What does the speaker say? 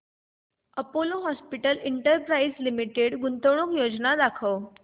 Apollo hospitals enterprise limited गुंतवणूक योजना दाखव